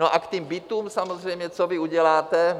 No a k těm bytům, samozřejmě co vy uděláte?